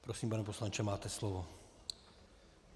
Prosím, pane poslanče, máte slovo.